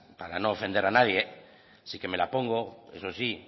para no ofender a nadie así que me la pongo eso sí